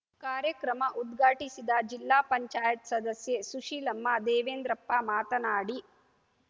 ಕಾರ್ಯಕ್ರಮ ಉದ್ಘಾಟಿಸಿದ ಜಿಲ್ಲಾ ಪಂಚಾಯತ್ ಸದಸ್ಯೆ ಸುಶೀಲಮ್ಮ ದೇವೇಂದ್ರಪ್ಪ ಮಾತನಾಡಿ